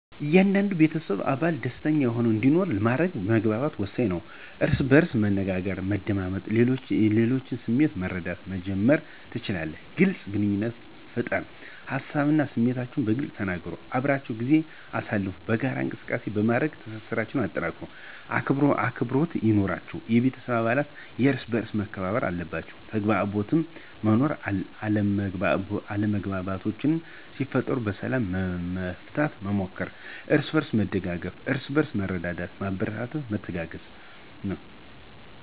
እያንዳንዱ የቤተሰብ አባል ደሰተኛ ሆኖ እንዲኖር ለማድረግ መግባባት ወሳኝ ነው። እርስ በእርስ በመነጋገር፣ በመደማመጥ እና የሌሎችን ስሜት በመረዳት መጀመር ትችላላችሁ። __ግልፅ ግንኙነት ፍጠር ሀሳባቸውን እና ስሜታችሁን በግልፅ ተነጋገሩ። _አብራችሁ ጊዜ አሳልፉ የጋራ እንቅሰቃሴዎች በማድረግ ትስስራቸሁን አጠናክሩ። _አክብሮት ይኑራችሁ የቤተሰብ አባለት እርሰበአርስ መከባበር አለባቸዉ። _ተግባቦት መኖር አለመግባባቶች ሲፈጠሩ በሰላም ለመፍታት መሞከር። አርስበእርስ መደጋገፍ እርስበእርስ በመረዳዳትና በማበረታታት መተጋገዝ።